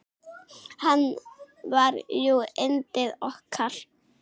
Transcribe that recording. Hann var jú yndið okkar.